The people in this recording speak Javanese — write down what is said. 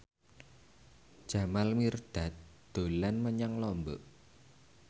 Jamal Mirdad dolan menyang Lombok